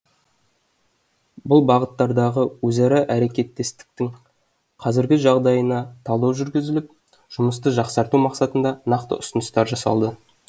бұл бағыттардағы өзара әрекеттестіктің қазіргі жағдайына талдау жүргізіліп жұмысты жақсарту мақсатында нақты ұсыныстар жасалды